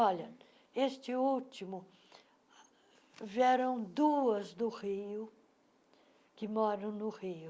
Olha, este último, vieram duas do Rio, que moram no Rio.